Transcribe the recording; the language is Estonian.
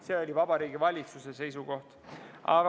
See oli Vabariigi Valitsuse seisukoht.